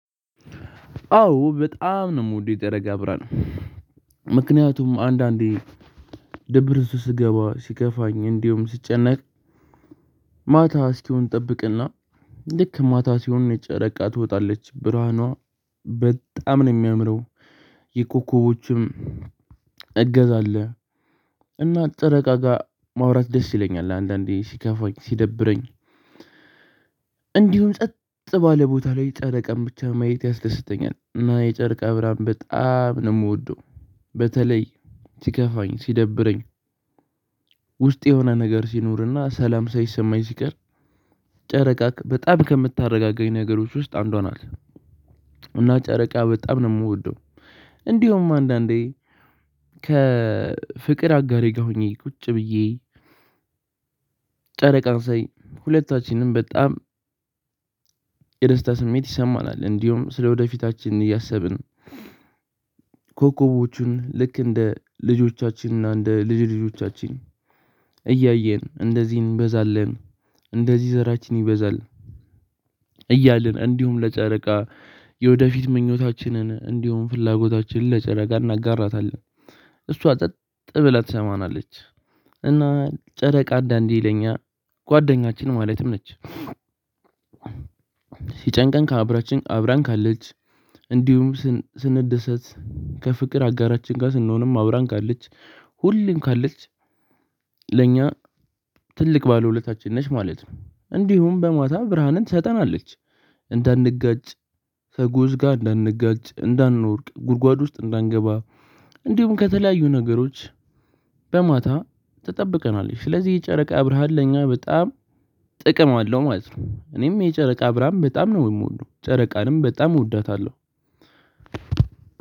አዎ! በጣም ነው የምወደው የጨረቃ ብርሃን። ምክንያቱም አንዳንዴ ደብር እሱ ስገባ ሲከፋኝ እንዲሁ ሲጨነቅ ማታ እስኪሆን እጠብቅና ልክ ማታ ሲሆን ነጭ ጨረቃ ትወጣለች። ብርሃኗ በጣም ነው የሚያምረው የኮኮቦቹም እገዛ አለ እና ጨረቃ ጋር ማውራት ደስ ይለኛል አንዳንዴ ሲከፋኝ ሲደብረኝ እንዲሁም ጸጥ ባለ ቦታ ላይ ጨረቃን ብቻ ማየት ያስደስተኛል። እና የጨርቅ ብርሃን በጣም ነው የምወደው በተለይ ሲከፋኝ ሲደብረኝ ውስጥ የሆነ ነገር ሲኖርና ሰላም ሰይሰማኝ ሲቀር ጨረቃ በጣም ከምታረጋጋኝ ነገሮች ውስጥ አንዷ ናት። እና ጨረቃ በጣም ነው የምወደው። እንዲሁም አንዳንዴ ከፍቅር አጋሬ ጋር ሆኜ ቁጭ ብዬ ጨረቃን ሳይ ሁለታችንም በጣም የደስታ ስሜት ይሰማናል። እንዲሁም ስለወደፊታችን እያሰብን ኮከቦቹን ልክ እንደ ልጆቻችን እና እንደ ልጅ ልጆቻችን እያየን እንደዚህ እንበዛለን እንደዚህ ዘራችን ይበዛል። እያልን እንዲሁም ለጨረቃ የወደፊት ምኞታችንን እንዲሁም ፍላጎታችን ለጨረቃ እናጋራታለን። እሷ ጸጥ ብለህ ትሰማናለች። እና ጨረቃ አንዳንዲ ለኛ ጓደኛችን ማለትም ነች። ሲጨንቀን ካብራችን አብራን ካለች፣ እንዲሁም ስንደሰት፣ ከፍቅር አጋራችን ጋር ስንሆንም፣ አብራን ካለች ሁሌም ካለች ለኛ ትልቅ ባለውለታችን ነሽ ማለት ነው። እንዲሁም በማታ ብርሃንን ትሰጠናለች እንዳንጋጭ ከጉዝ ጋር እንዳንጋጭ፣ እንዳንወርቅ፣ ጉድጓድ ውስጥ እንዳንገባ እንዲሁም ከተለያዩ ነገሮች በማታ ትጠብቀናለች ስለዚህ የጨረቃ ብረሃል ለኛ በጣም ጥቅም አለው ማለት ነው። እኔም የጨረቃ ብርሃን በጣም ነው የምወደው። ጨረቃንም በጣም እወዳታለሁ።